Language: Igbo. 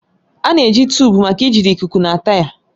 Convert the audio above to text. A na-eji tuụbu maka ijide ikuku na taya.